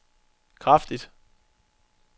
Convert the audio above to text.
kraftigt